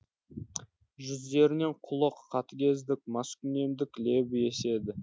жүздерінен қулық қатыгездік маскүнемдік лебі еседі